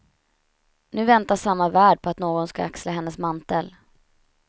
Nu väntar samma värld på att någon ska axla hennes mantel.